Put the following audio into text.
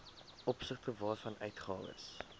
opsigte waarvan uitgawes